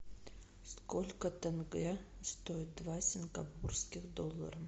сколько тенге стоит два сингапурских доллара